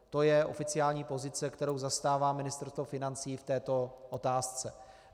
To je oficiální pozice, kterou zastává Ministerstvo financí v této otázce.